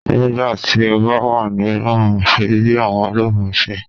Nigbati o ba wa ni Romu, ṣe bi awọn Romu ṣe